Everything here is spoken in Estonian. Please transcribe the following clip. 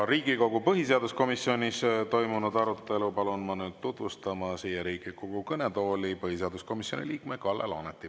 Riigikogu põhiseaduskomisjonis toimunud arutelu palun ma siia Riigikogu kõnetooli tutvustama põhiseaduskomisjoni liikme Kalle Laaneti.